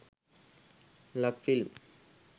lakfilm